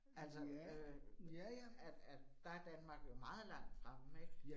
Altså øh at at der er Danmark jo meget langt fremme ik